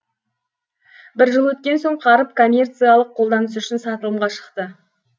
бір жыл өткен соң қаріп коммерциялық қолданыс үшін сатылымға шықты